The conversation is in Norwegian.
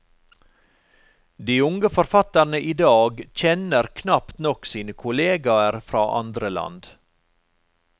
De unge forfatterne idag kjenner knapt nok sine kolleger fra andre land.